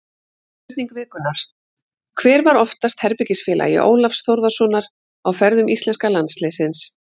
Spurning vikunnar: Hver var oftast herbergisfélagi Ólafs Þórðarsonar á ferðum íslenska landsliðsins?